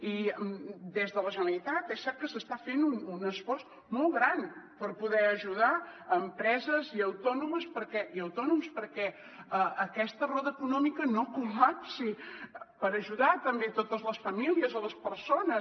i des de la generalitat és cert que s’està fent un esforç molt gran per poder ajudar empreses i autònoms perquè aquesta roda econòmica no col·lapsi per ajudar també totes les famílies les persones